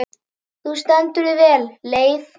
Þú stendur þig vel, Leif!